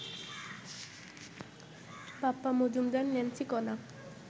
Bappa Majumdar, Nancy, কণা